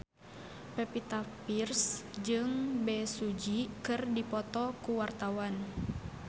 Pevita Pearce jeung Bae Su Ji keur dipoto ku wartawan